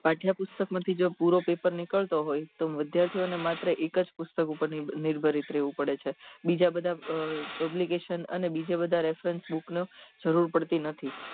પાઠ્યપુસ્તક મા થી જો પૂરો પપેર નીકળતો હોય તો વિદ્યાર્થીઓ ને માત્ર એક જ પુસ્તક ઉપર નીર્ભારિત રેવું પડે છે બીજા બધા publication અને બીજા બધ reference book ની જરૂર પડતી નથી